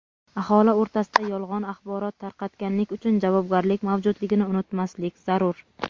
Aholi o‘rtasida yolg‘on axborot tarqatganlik uchun javobgarlik mavjudligini unutmaslik zarur.